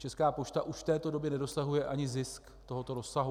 Česká pošta už v této době nedosahuje ani zisk tohoto rozsahu.